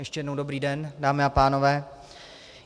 Ještě jednou dobrý den, dámy a pánové.